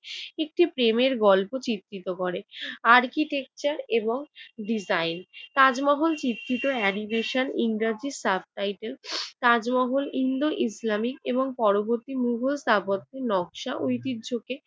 একটি প্রেমের গল্প চিত্রিত করে। architecture এবং design তাজমহল চিত্রিত animation, in graphics, substitle Taj Mahal Indo Islamic এবং পরবর্তী মোগল স্থাপত্যের নকশা ঐতিহ্যকে